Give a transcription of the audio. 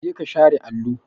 Jeka share allo!